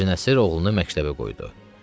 Hacı Nəsir oğlunu məktəbə qoydu.